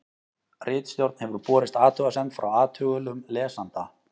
ritstjórn hefur borist athugasemd frá athugulum lesanda